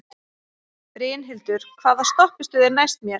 Brynhildur, hvaða stoppistöð er næst mér?